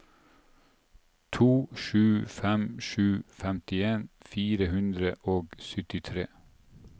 to sju fem sju femtien fire hundre og syttitre